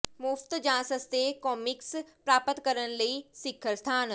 ਮੁਫ਼ਤ ਜਾਂ ਸਸਤੇ ਕਾਮਿਕਸ ਪ੍ਰਾਪਤ ਕਰਨ ਲਈ ਸਿਖਰ ਸਥਾਨ